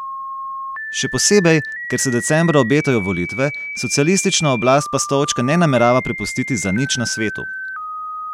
Še posebej, ker se decembra obetajo volitve, socialistična oblast pa stolčka ne namerava prepustiti za nič na svetu.